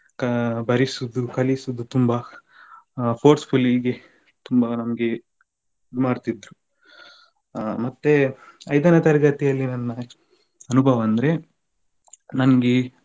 ಕ~ ಬರಿಸುದು ಕಲಿಸುದು ತುಂಬಾ forcefully ಹೀಗೆ ತುಂಬಾ ನಮ್ಗೆ ಇದು ಮಾಡ್ತಿದ್ರು ಆ ಮತ್ತೆ ಐದನೇ ತರಗತಿಯಲ್ಲಿ ನನ್ನ ಅನುಭವ ಅಂದ್ರೆ ನನಗೆ